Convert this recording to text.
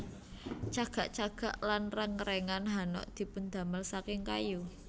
Cagak cagak lan rèngrèngan hanok dipundamel saking kayu